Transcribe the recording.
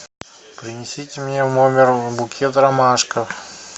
принесите мне в номер букет ромашек